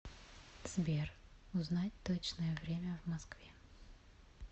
сбер узнать точное время в москве